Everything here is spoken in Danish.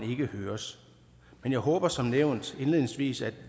ikke høres men jeg håber som nævnt indledningsvis at